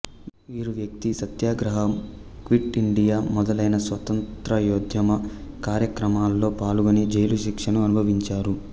వీరు వ్యక్తి సత్యాగ్రహం క్విట్ ఇండియా మొదలైన స్వాతంత్ర్యోద్యమ కార్యక్రమాలలో పాల్గొని జైలుశిక్షను అనుభవించారు